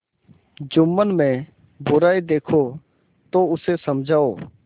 जुम्मन में बुराई देखो तो उसे समझाओ